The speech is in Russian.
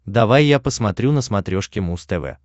давай я посмотрю на смотрешке муз тв